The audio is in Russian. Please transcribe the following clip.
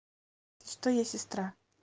что я сестра